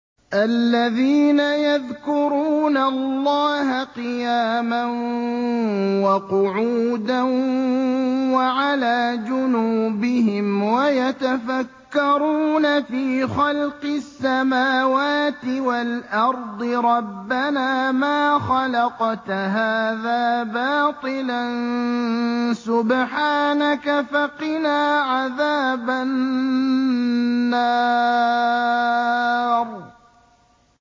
الَّذِينَ يَذْكُرُونَ اللَّهَ قِيَامًا وَقُعُودًا وَعَلَىٰ جُنُوبِهِمْ وَيَتَفَكَّرُونَ فِي خَلْقِ السَّمَاوَاتِ وَالْأَرْضِ رَبَّنَا مَا خَلَقْتَ هَٰذَا بَاطِلًا سُبْحَانَكَ فَقِنَا عَذَابَ النَّارِ